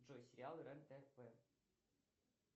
джой сериалы рен тв